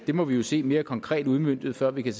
det må vi jo se mere konkret udmøntet før vi kan